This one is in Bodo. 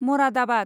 मरादाबाद